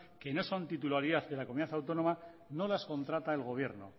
que no son titularidad de la comunidad autónoma no las contrata el gobierno